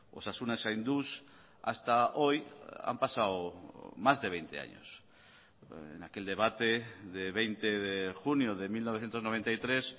osasuna zainduz hasta hoy han pasado más de veinte años en aquel debate de veinte de junio de mil novecientos noventa y tres